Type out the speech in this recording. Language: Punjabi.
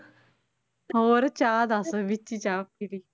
ਹੋਰ ਚਾਹ ਦੱਸ ਵਿੱਚ ਹੀ ਚਾਹ ਪੀਲੀ।